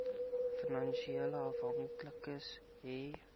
finansiële afhanklikes hê